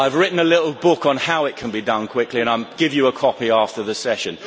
I have written a little book on how it can be done quickly, and I will give you a copy after the session.